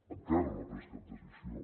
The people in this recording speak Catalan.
encara no ha pres cap decisió